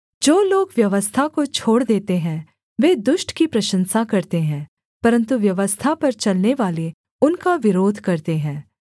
जो लोग व्यवस्था को छोड़ देते हैं वे दुष्ट की प्रशंसा करते हैं परन्तु व्यवस्था पर चलनेवाले उनका विरोध करते हैं